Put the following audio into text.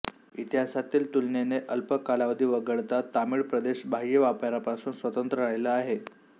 इतिहासातील तुलनेने अल्प कालावधी वगळता तामिळ प्रदेश बाह्य व्यापारापासून स्वतंत्र राहिला आहे